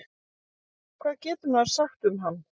Hvað getur maður sagt um hann?